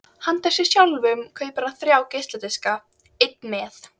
Handa sér sjálfum kaupir hann svo þrjá geisladiska: einn með